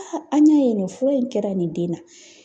an ɲɛ yen nɔ fura in kɛra nin den na